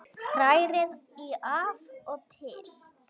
Hrærið í af og til.